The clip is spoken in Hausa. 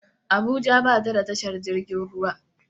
Abuja ba ta da tashar jirgin ruwa